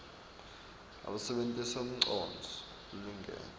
usebenitse umcondvo lolingene